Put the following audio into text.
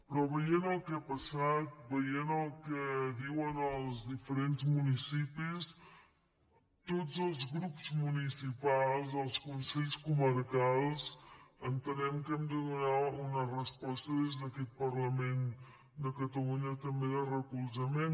però veient el que ha passat veient el que diuen els diferents municipis tots els grups municipals els consells comarcals entenem que hem de donar una resposta des d’aquest parlament de catalunya també de recolzament